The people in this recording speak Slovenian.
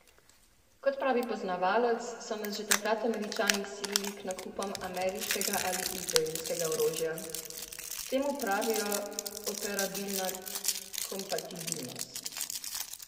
Kot pravi poznavalec, so nas že takrat Američani silili k nakupom ameriškega ali izraelskega orožja: 'Temu pravijo 'operabilna kompatibilnost'.